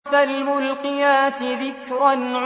فَالْمُلْقِيَاتِ ذِكْرًا